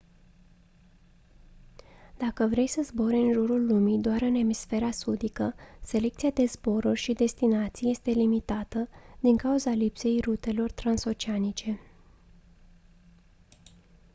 dacă vrei să zbori în jurul lumii doar în emisfera sudică selecția de zboruri și destinații este limitată din cauza lipsei rutelor transoceanice